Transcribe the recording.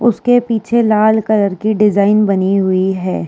उसके पीछे लाल कलर के डिजाइन बनी हुई है।